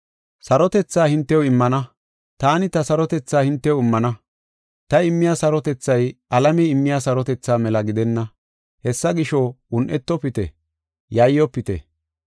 “Sarotethaa hintew immana. Taani ta sarotethaa hintew immana. Ta immiya sarotethay alamey immiya sarotethaa mela gidenna. Hessa gisho, un7etofite, yayyofite.